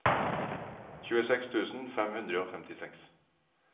tjueseks tusen fem hundre og femtiseks